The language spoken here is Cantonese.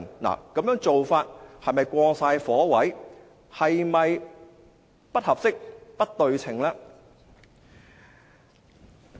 此要求是否過火、不合適、不對稱呢？